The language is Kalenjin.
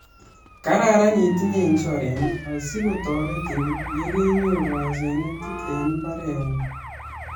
Kararan itinye insurance asi kotoretin ye kenyoru asenet eng imbaretng'ung